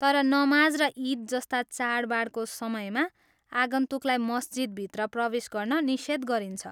तर नमाज र इद जस्ता चाडबाडको समयमा आगन्तुकलाई मस्जिदभित्र प्रवेश गर्न निषेध गरिन्छ।